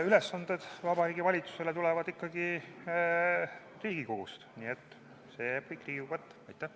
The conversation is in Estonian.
Ülesanded Vabariigi Valitsusele tulevad ikkagi Riigikogust, nii et see jääb kõik Riigikogu kätte.